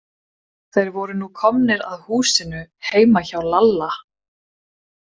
Þeir voru nú komnir að húsinu heima hjá Lalla.